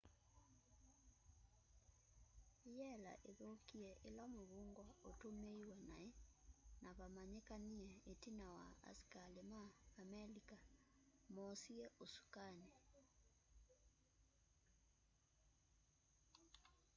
yela ithukie ila muvungwa ututmiiwe nai na vamanyikanie itina wa asikali ma amelika moosie usukani